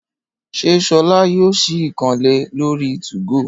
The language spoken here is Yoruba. Ṣé solá yóò sì ìkànnlé lori 2go?